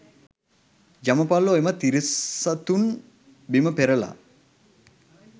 යමපල්ලෝ එම තිරිසතුන් බිම පෙරළා